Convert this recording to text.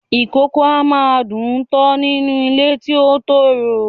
Ìkókó a máa dùn-ún tọ́ nínú ilé ti ó tòrò